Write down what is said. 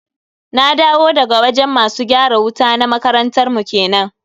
Na dawo daga wajen masu gyara wuta na makarantar mu kenan.